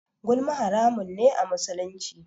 Gulma haramun ne a musulunci.